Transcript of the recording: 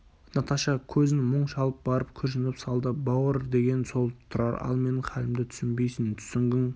наташа көзін мұң шалып барып күрсініп салды бауыр деген сол тұрар ал менің халімді түсінбейсің түсінгің